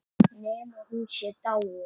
Nema hún sé dáin.